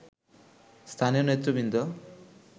স্থানীয় নেতৃবৃন্দ